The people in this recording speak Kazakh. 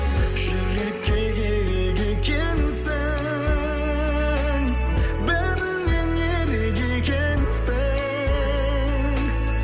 жүрекке керек екенсің бәрінен ерек екенсің